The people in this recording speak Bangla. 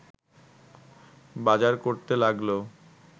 বাজার করতে লাগল